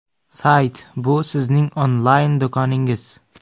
Sayt bu sizning onlayn do‘koningiz.